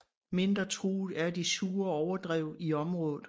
Mindre truet er de sure overdrev i området